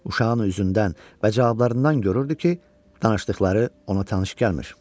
Uşağın üzündən və cavablarından görürdü ki, danışdıqları ona tanış gəlmir.